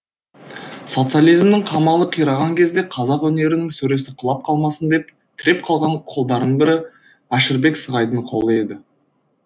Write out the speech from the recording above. социализмнің қамалы қираған кезде қазақ өнерінің сөресі құлап қалмасын деп тіреп қалған қолдардың бірі әшірбек сығайдың қолы еді